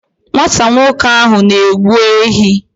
Nwata nwoke ahụ na-egbu ehi.